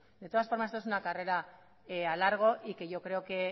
de todas formas esta es una carrera a largo y yo creo que